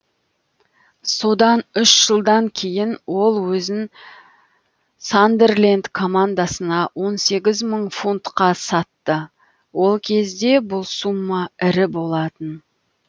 содан үш жылдан кейін ол өзін сандерленд командасына он сегіз мың фунтқа сатты ол кезде бұл сумма ірі болатын